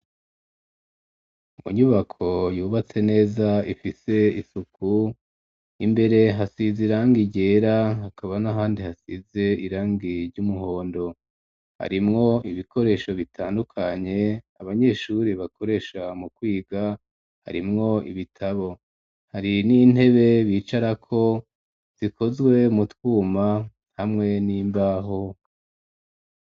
Mu nyubako yubatse neza ifise isuku, imbere hasize irangi ryera hakaba n'ahandi hasize irangi ry'umuhondo, harimwo ibikoresho bitandukanye abanyeshuri bakoresha mu kwiga harimwo ibitabo, hari n'intebe bicarako zikozwe mu twuma hamwe n'imbaho.